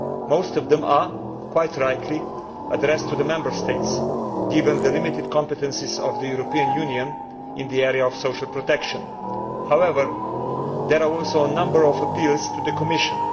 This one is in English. Most of them are, quite rightly, addressed to the Member States, given the limited competences of the European Union in the area of social protection. However, there are also a number of appeals to the Commission.